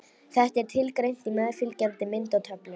Þetta er tilgreint í meðfylgjandi mynd og töflu.